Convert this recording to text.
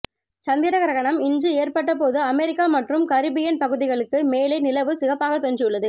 சந்திர கிரகணம் இன்று ஏற்பட்ட போது அமெரிக்கா மற்றும் கரிபியன் பகுதிகளுக்கு மேலே நிலவு சிகப்பாக தோன்றியுள்ளது